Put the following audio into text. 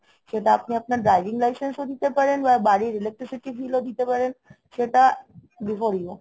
সেটা আপনি আপনার driving licenceও দিতে পারেন বা বাড়ির electricity billও দিতে পারেন। সেটা before you